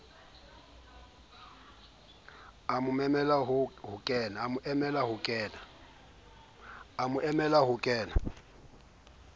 a o memele ho kenela